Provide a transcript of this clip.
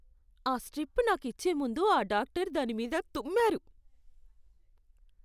ఆ స్ట్రిప్ నాకు ఇచ్చే ముందు ఆ డాక్టరు దానిమీద తుమ్మారు.